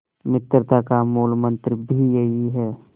मित्रता का मूलमंत्र भी यही है